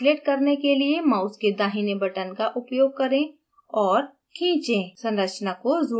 अणु को translate करने के लिए mouse के दाहिने button का उपयोग करें और खीचे खींचें